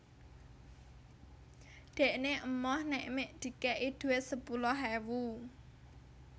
Dhekne emoh nek mek dikek i duit sepuluh ewu